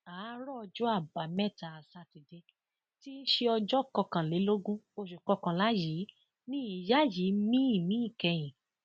àárọ ọjọ àbámẹta sátidé tí í ṣe ọjọ kọkànlélógún oṣù kọkànlá yìí ni ìyá yìí mí ìmí ìkẹyìn